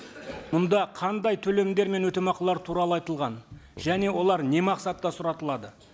мұнда қандай төлемдер мен өтемақылар туралы айтылған және олар не мақсатта сұратылады